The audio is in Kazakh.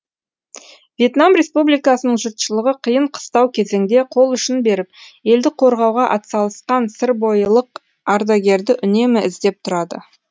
вьетнам республикасының жұртшылығы қиын қыстау кезеңде қол ұшын беріп елді қорғауға атсалысқан сырбойылық ардагерді үнемі іздеп тұрады